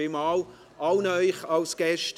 Vielen Dank an alle Gäste.